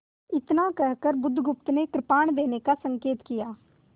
इतना कहकर बुधगुप्त ने कृपाण देने का संकेत किया